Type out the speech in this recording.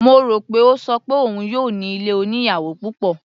Mo rò pé ó ṣọ pé òun yóò ní ilé oníyàwò púpọ̀.